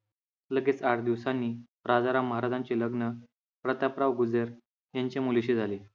लगेच आठ दिवसांनी राजाराम महाराजांचे लग्न प्रतापराव गुजर यांच्या मुलीशी झाले.